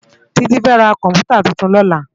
Titi fè rá kòmpútá tútún lòlá